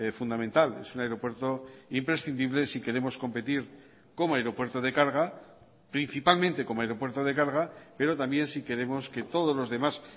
fundamental es un aeropuerto imprescindible si queremos competir como aeropuerto de carga principalmente como aeropuerto de carga pero también si queremos que todos los demás